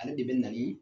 Ale de bɛ na ni